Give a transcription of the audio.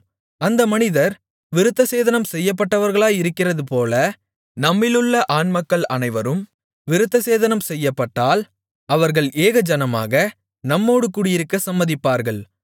அந்த மனிதர் விருத்தசேதனம் செய்யப்பட்டவர்களாயிருக்கிறது போல நம்மிலுள்ள ஆண்மக்கள் அனைவரும் விருத்தசேதனம் செய்யப்பட்டால் அவர்கள் ஏகஜனமாக நம்மோடு குடியிருக்கச் சம்மதிப்பார்கள்